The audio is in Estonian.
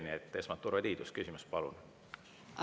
Nii et esmalt Urve Tiidus, küsimus, palun!